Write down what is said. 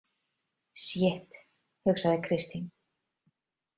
Sjitt, hugsaði Kristín.